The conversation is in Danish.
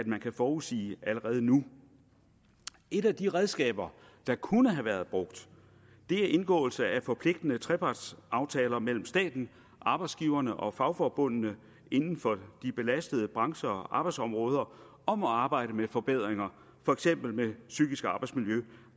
man kan forudsige allerede nu et af de redskaber der kunne have været brugt er indgåelse af forpligtende trepartsaftaler mellem staten arbejdsgiverne og fagforbundene inden for de belastede brancher og arbejdsområder om at arbejde med forbedringer for eksempel med psykisk arbejdsmiljø